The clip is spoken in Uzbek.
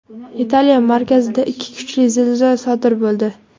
Italiya markazida ikki kuchli zilzila sodir bo‘ldi.